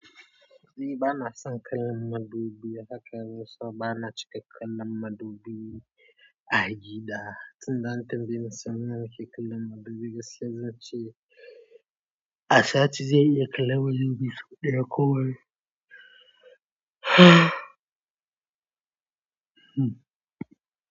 Ni bana son kallan madubi hakanan, so bana cika kallan madubi a gida. Tunda an tambaye ni sau nawa na ke kallan madubi, gaskiya zan ce a sati zan iya kallan madubi sau ɗaya ko biyu.